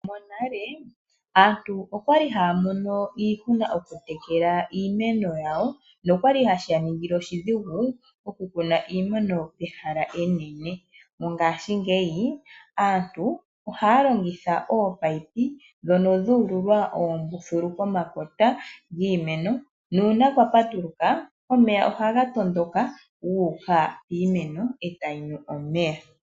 Monale aantu okwali haya mono iihuna okutekela iimeno yawo nokwali hashi ya ningile oshidhiigu okukuna iimeno ehala enene. Mongashingeyi aantu ohaya longitha oopayipi ndhono dhu ululwa oombululu pomakota giimeno nuuna kwa patuluka omeya ohaga tondoka gu uka piimeno e tayi nu omeya.